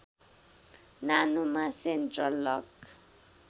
नानोमा central lock